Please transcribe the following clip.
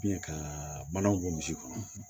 ka manaw bɔ misi kɔnɔ